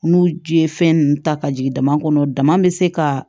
N'u ji ye fɛn ninnu ta ka jigin dama kɔnɔ dama bɛ se ka